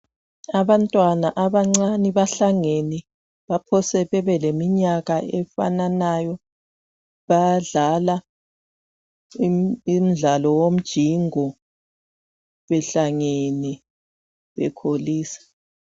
Abantwana abancane bahlangene. Baphose bebe leminyaka efananayo. Bayadlala umdlalo wonjingo behlangene, bekholisa.